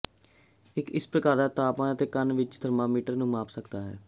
ਇੱਕ ਇਸ ਪ੍ਰਕਾਰ ਦਾ ਤਾਪਮਾਨ ਅਤੇ ਕੰਨ ਵਿੱਚ ਇੱਕ ਥਰਮਾਮੀਟਰ ਨੂੰ ਮਾਪ ਸਕਦਾ ਹੈ